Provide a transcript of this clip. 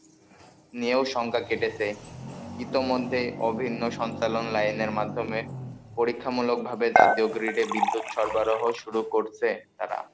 নিয়েও শঙ্কা কেটেছে, ইতিমধ্যে অভিন্ন সঞ্চালন লাইনের মাধ্যমে, পরীক্ষামূলকভাবে জাতীয় গ্রিডে বিদ্যুৎ সরবরাহ শুরু করছে তারা,